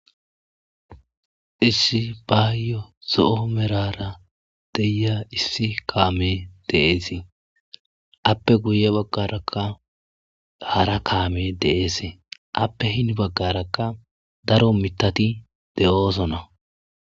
issi baayo zo'o merara diya issi kaame de'eesii appe guye baggarakka hara kaame de'eese appe hini baggarakka daro mitati de'oosona